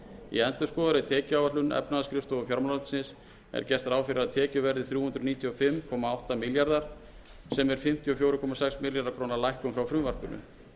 í endurskoðaðri tekjuáætlun efnahagsskrifstofu fjármálaráðuneytis er gert ráð fyrir að tekjur verði þrjú hundruð níutíu og fimm komma átta milljarðar króna sem er fimmtíu og fjögur komma sex milljarða króna lækkun frá frumvarpinu